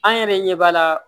An yɛrɛ ɲɛ b'a la